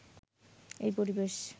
এই পরিবেশ